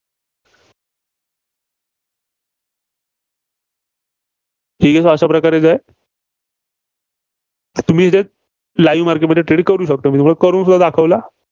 training अशा प्रकारेच आहे. तुम्ही इथं live market मध्ये trade करू शकता. करूनसुद्धा दाखवलं.